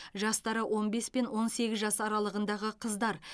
жастары он бес пен он сегіз жас аралығындағы қыздар